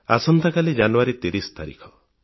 ଆସନ୍ତାକାଲି ଜାନୁୟାରୀ 30 ତାରିଖ